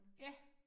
Ja